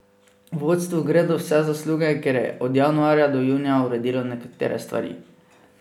Vodstvu gredo vse zasluge, ker je od januarja do junija uredilo nekatere stvari.